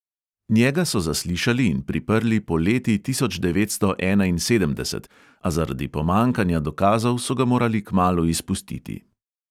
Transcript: Njega so zaslišali in priprli poleti tisoč devetsto enainsedemdeset, a zaradi pomanjkanja dokazov so ga morali kmalu izpustiti.